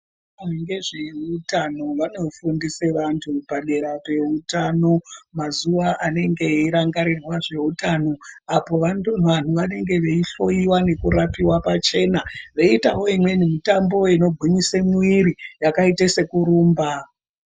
Vezveutano vanofundise vantu padera peutano mazuva anenge eirangarirwa zveutano apo vanhu vanenge veihloiwa nekurapiwa pachena veitawo imweni mitambo inogwinyise mwiri yakaita sekurumba.